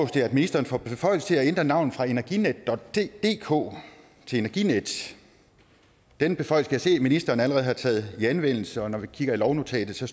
det at ministeren får beføjelse til at ændre navnet fra energinetdk til energinet den beføjelse kan jeg se ministeren allerede har taget i anvendelse og når vi kigger i lovnotatet ser